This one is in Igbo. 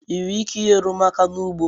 Ị nwere ike inyere m aka n'ugbo?